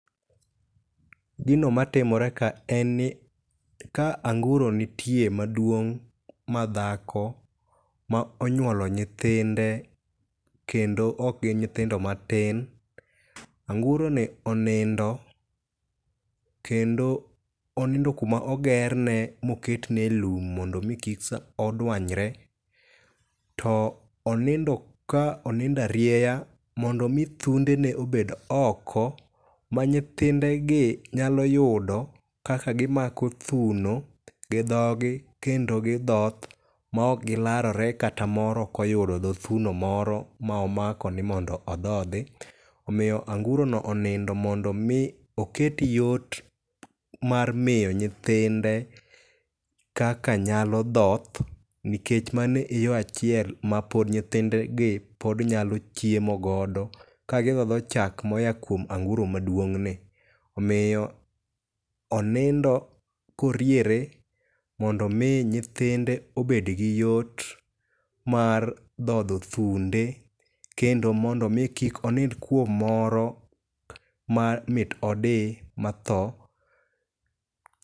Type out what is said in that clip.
Gino matimore ka en ni ka anguro nitie, maduong' ma dhako ma onyuolo nyithinde kendo ok gin nyithindo matin. Anguroni onindo kendo onindo kuma ogerne moket neye lum mondo mi kik oduanyre to onindo ka onindo arieya mondo mi thundene obed oko manyithinde gi nyalo yudo kaka gimako thuno gidhogi kendo gidhoth maok gilarore kata moro ok oyudo dho thuno ,oro ma omako ni mondo odhodhi. Omiyo angurono onindo mondo mi oket yot mar miyo nyithinde kaka nyalo dhoth nikech mano e yoo achiel ma pod nyithindegi pod nyalo chiemo godo ka gidhodho chak moa kuom anguro maduong' ni. Omiyo onindo ka oriere mondo mi nyithinde obed gi yot mar dhodho thunde kendo mondo mi kik onind kuom moro ma mit odi matho.